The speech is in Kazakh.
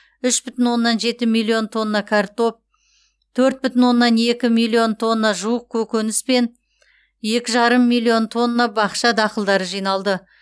үш бүтін оннан жеті миллион тонна картоп төрт бүтін оннан екі миллион тонна жуық көкөніс пен екі жарым миллион тонна бақша дақылдары жиналды